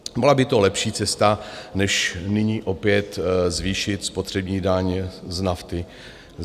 Byla by to lepší cesta než nyní opět zvýšit spotřební daň z nafty.